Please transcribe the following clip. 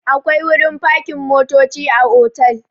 Akwai wurin fakin motoci a otal.